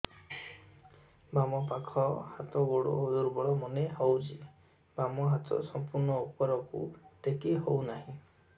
ବାମ ପାଖ ହାତ ଗୋଡ ଦୁର୍ବଳ ମନେ ହଉଛି ବାମ ହାତ ସମ୍ପୂର୍ଣ ଉପରକୁ ଟେକି ହଉ ନାହିଁ